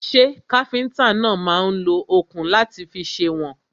Ṣẹ́ káfíntà náà máà ń lo òkun láti fi sèwọ̀n?